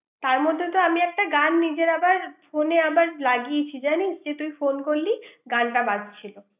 তার মধ্যে তো আমি একটা গান নিজের আবার ফোনে আবার লাগিয়েছি জানিস তুই ফোন করলি, গানটা বাজছিল ৷